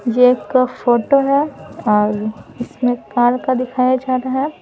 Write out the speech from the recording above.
ये एक फोटो है और इसमें कार का दिखाया जा रहा है।